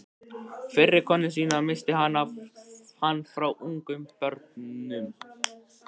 Fyrri konu sína missti hann frá ungum börnum.